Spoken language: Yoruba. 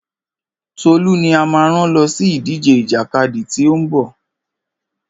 Tolú ni a máa rán lọ sí ìdíje ìjàkadì tí ó ń bọ̀.